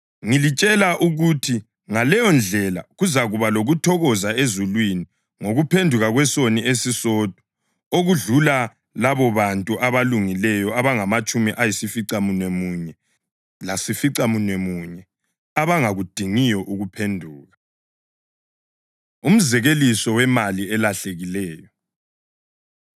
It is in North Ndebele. Ngilitshela ukuthi ngaleyondlela kuzakuba lokuthokoza ezulwini ngokuphenduka kwesoni esisodwa okudlula labobantu abalungileyo abangamatshumi ayisificamunwemunye lasificamunwemunye abangakudingiyo ukuphenduka.” Umzekeliso Wemali Elahlekileyo